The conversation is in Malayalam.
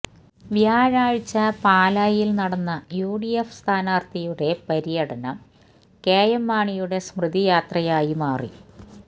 വ്യാഴാഴ്ച പാലായിൽ നടന്ന യുഡിഎഫ് സ്ഥാനർഥിയുടെ പര്യടനം കെഎം മാണിയുടെ സ്മൃതി യാത്രയായി മാറി